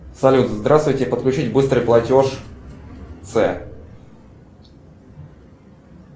салют здравствуйте подключить быстрый платеж ц